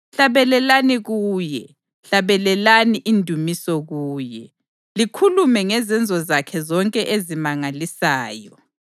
Hlabelelani kuye, hlabelelani indumiso kuye; likhulume ngezenzo zakhe zonke ezimangalisayo.